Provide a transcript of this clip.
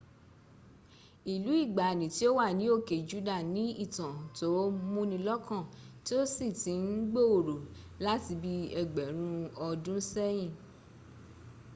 ìlú ìgbàani tí ò wà ní òke juda ni ìtàn tó múnilọ́kàn tí ó sì ti ń gbòòrò láti bí ẹgbẹ̀rún ọdúnsẹ́yìn